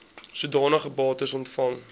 sodanige bates ontvang